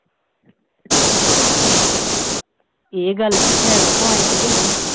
ਇਹ ਗੱਲ ਵਿਚ ਹੈਗਾ point ਕੇ ਨਹੀਂ?